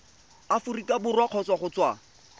aforika borwa kgotsa go tswa